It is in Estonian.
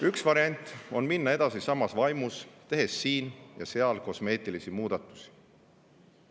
Üks variant on minna edasi samas vaimus, tehes siin ja seal kosmeetilisi muudatusi.